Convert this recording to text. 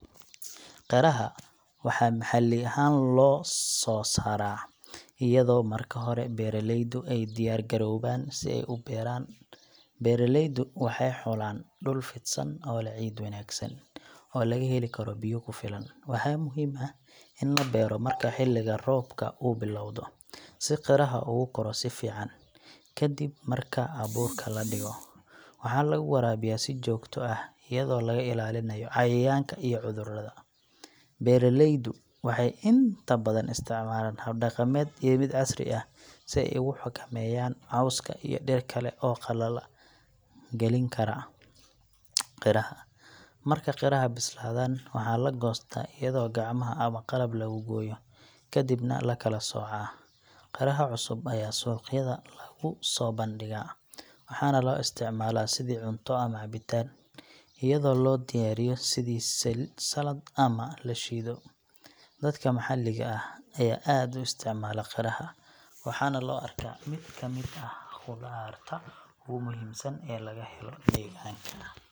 Qiraha waxaa maxalli ahaan loo sooraa iyadoo marka hore beeraleydu ay diyaar garoobaan si ay u beeraan. Beeraleydu waxay xulaan dhul fidsan oo leh ciid wanaagsan oo laga heli karo biyo ku filan. Waxaa muhiim ah in la beero marka xilliga roobka uu bilowdo, si qiraha ugu koro si fiican. Kadib marka abuurka la dhigo, waxaa lagu waraabiyaa si joogto ah, iyadoo laga ilaalinayo cayayaanka iyo cudurrada. Beeraleydu waxay inta badan isticmaalaan hab dhaqameed iyo mid casri ah si ay u xakameeyaan cawska iyo dhir kale oo qalala galin kara qiraha. Marka qiraha bislaadaan, waxaa la goostaa iyadoo gacmaha ama qalab lagu gooyo, kadibna la kala soocaa. Qiraha cusub ayaa suuqyada lagu soo bandhigaa, waxaana loo isticmaalaa sidii cunto ama cabitaan, iyadoo loo diyaariyo sidii salad ama la shiido. Dadka maxalliga ah ayaa aad u isticmaala qiraha, waxaana loo arkaa mid ka mid ah khudaarta ugu muhiimsan ee laga helo deegaanka.